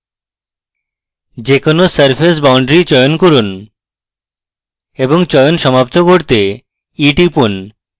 যে কোনো surface boundary চয়ন করুন এবং চয়ন সমাপ্ত করতে e টিপুন